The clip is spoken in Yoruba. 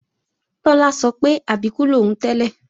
Tọ́lá sọ pé Àbíkú lòún tẹ́lẹ̀